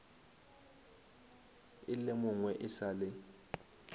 e lemogwe e sa le